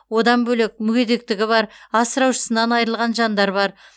одан бөлек мүгедектігі бар асыраушысынан айырылған жандар бар